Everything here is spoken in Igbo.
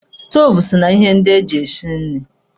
Stoovu so na ihe ndị eji esi nri.